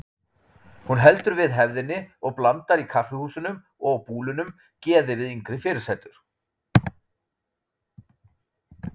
Hún heldur við hefðinni og blandar í kaffihúsunum og á búlunum geði við yngri fyrirsætur.